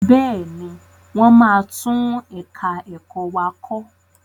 Bẹ́ẹ̀ni, wọ́n máa tún ẹ̀ka ẹ̀kọ́ wa kọ.